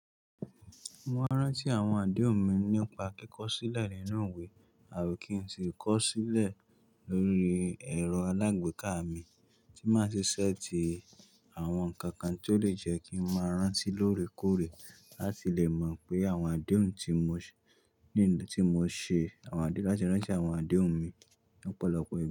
Mo maa ń rántí àwọn àdéhùn mi nípa kíkọ sílẹ̀ nínú iwe, àbí kí n sì kọ sílẹ̀ lórí ẹ̀rọ alágbèéká mi, tí máa ṣi set i àwọn nǹkan kan tó lè jẹ́ kí n máa rántí lóore kóòrè láti lè mọ̀ pé àwọn àdéhùn tí mo ṣe, láti rántí àwọn àdéhùn mi ní ọ̀pọ̀lọpọ̀ ìgbà.